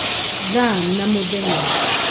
thaa na mũthenya